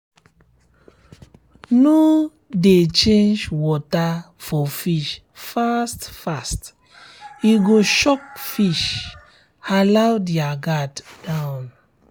no um de change water for fish fast um fast um e go shock fish allow their guard down